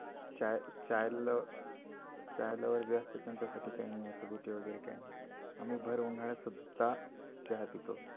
चाय, chai lover बी असतात ना त्याच्यासाठी काही नाही आम्ही भर उन्हाळ्यात सुद्ध चहा पितो.